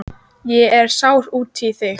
Ég er sár út í þig.